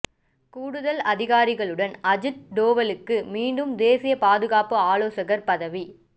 கூடுதல் அதிகாரங்களுடன் அஜித் டோவலுக்கு மீண்டும் தேசிய பாதுகாப்பு ஆலோசகர் பதவி